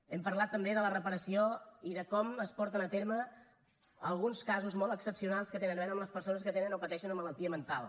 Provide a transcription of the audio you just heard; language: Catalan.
hem parlat també de la reparació i de com es porten a terme alguns casos molt excepcionals que tenen a veure amb les persones que tenen o pateixen una malaltia mental